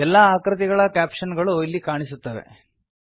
ಎಲ್ಲಾ ಆಕೃತಿಗಳ ಕ್ಯಾಪ್ಷನ್ ಗಳು ಇಲ್ಲಿ ಕಾಣಸಿಗುತ್ತವೆ